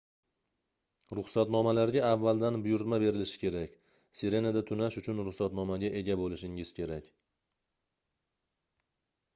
ruxsatnomalarga avvaldan buyurtma berilishi kerak sirenada tunash uchun rusxatnomaga ega boʻlishingiz kerak